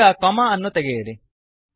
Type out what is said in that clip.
ಈಗ ಕೊಮ್ಮ ಅನ್ನು ತೆಗೆಯಿರಿ